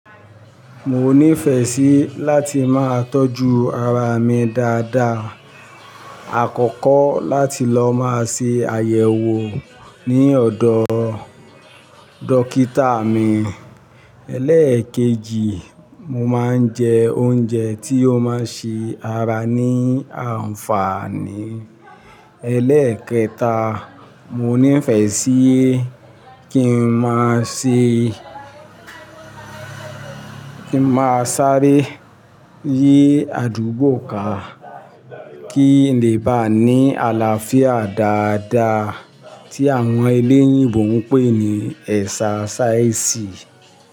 Mo nífẹ̀ẹ́ sí láti máa tọ́jú ara mi dáadáa. Àkọ́kọ́ láti lọ máa ṣe àyẹ̀wò ní ọ̀dọ̀ dókítà mi. Eléèkejì, mo máa ń jẹ oúnjẹ tí ó máa ń ṣe ara ní àǹfààní. Elẹ́ẹ̀kẹta, mo nífẹ̀ẹ́ sí kí n máa se kí n máa sáré yí àdúgbò ká kí n lè bá ní àlàáfíà dáadáa tí àwọn eléyìíbo ń pè ní èsa sáìsì.